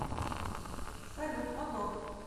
салют мотор